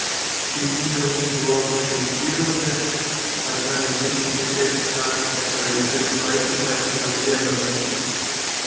дрезина у них была моторизованная одна на десять ближайших станций такая и только поэтому они смогли обогнать крыс